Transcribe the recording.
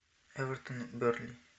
эвертон бернли